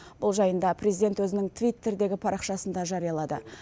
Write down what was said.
бұл жайында президент өзінің твиттердегі парақшасында жариялады